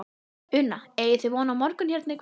Una: Eigið þið von á morgun hérna í kvöld?